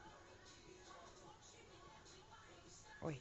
ой